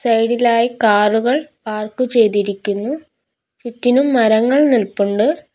Side ഇലായി കാറുകൾ park ചെയ്തിരിക്കുന്നു ചുറ്റിലും മരങ്ങൾ നിൽപ്പുണ്ട്.